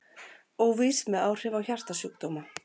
Óvíst með áhrif á hjartasjúkdóma